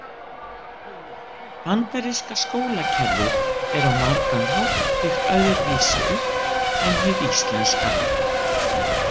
Bandaríska skólakerfið er á margan hátt byggt öðru vísu upp en hið íslenska.